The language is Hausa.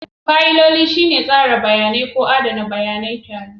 Fayiloli shine tsara bayanai ko adana bayanai tare.